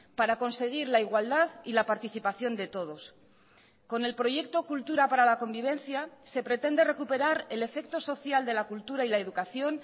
para conseguir la igualdad y la participación de todos con el proyecto cultura para la convivencia se pretende recuperar el efecto social de la cultura y la educación